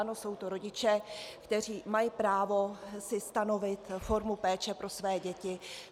Ano, jsou to rodiče, kteří mají právo si stanovit formu péče pro své děti.